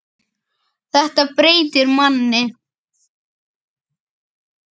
Þetta breytir manni.